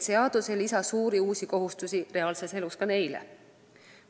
Seadus ei lisa uusi suuri kohustusi reaalses elus ka neile.